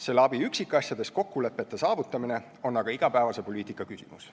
Selle abi üksikasjades kokkulepete saavutamine on aga igapäevase poliitika küsimus.